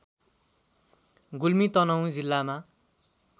गुल्मी तनहुँ जिल्लामा